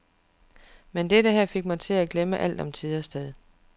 Men dette her fik mig til at glemme alt om tid og sted.